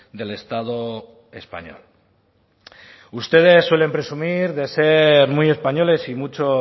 del estado español ustedes suelen presumir de ser muy españoles y mucho